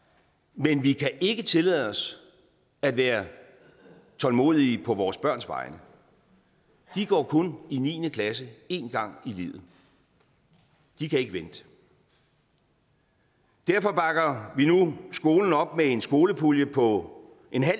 men vi kan ikke tillade os at være tålmodige på vores børns vegne de går kun i niende klasse én gang i livet de kan ikke vente derfor bakker vi nu skolen op med en skolepulje på